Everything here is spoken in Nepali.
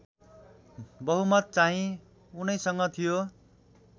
बहुमतचाहिँ उनैसँग थियो